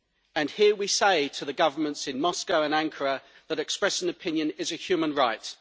And here we say to the governments in Moscow and Ankara that expressing an opinion is a human right.